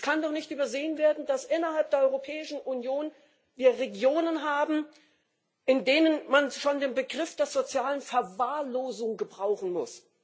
Es kann doch nicht übersehen werden, dass wir innerhalb der Europäischen Union Regionen haben, in denen man schon den Begriff der sozialen Verwahrlosung gebrauchen muss.